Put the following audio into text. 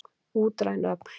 Útræn öfl.